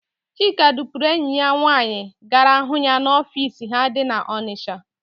Chika dupuru enyi ya nwaanyị gara hụ ya n'ofiisi ha dị n'Ọnịsha.